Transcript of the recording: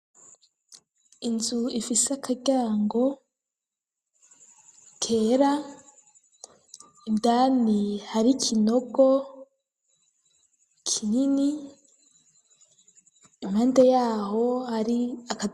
Inzu ifise akaryango kera, indani hari kinogo kinini ,impande yaho ari a